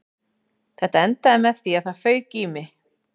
Þetta endaði með því að það fauk í mig